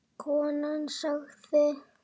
Konan sagði